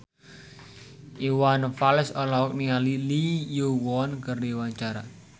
Iwan Fals olohok ningali Lee Yo Won keur diwawancara